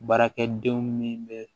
Baarakɛdenw ni bɛ